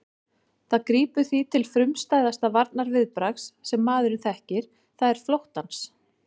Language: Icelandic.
Það grípur því til frumstæðasta varnarviðbragðs sem maðurinn þekkir, það er flóttans.